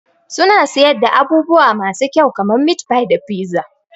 Suna siyar da abubuwa masu kyau kamar meatfie da pizza.